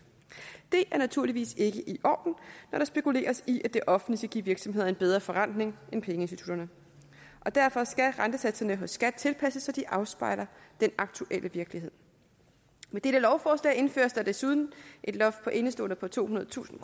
det er naturligvis ikke i orden når der spekuleres i at det offentlige skal give virksomheder en bedre forrentning end pengeinstitutterne og derfor skal rentesatserne hos skat tilpasses så de afspejler den aktuelle virkelighed med dette lovforslag indføres der desuden et loft på indeståender på tohundredetusind